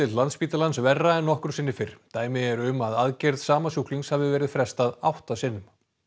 Landspítalans verra en nokkru sinni fyrr dæmi eru um að aðgerð sama sjúklings hafi verið frestað átta sinnum